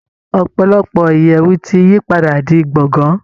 Ọ̀pọ̀lọpọ̀ ìyẹ̀wù ti yí padà di gbọ̀ngán